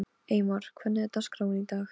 Eymar, hvernig er dagskráin í dag?